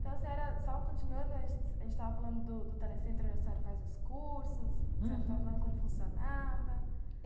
Então, senhora, só continuando, a gente a gente estava falando do do telecentro onde a senhora faz os cursos, uhum, funcionava.